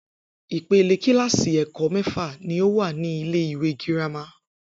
Ipele kíláàsì è̩kó̩ mé̩fà ní o wà ní ilé ìwé girama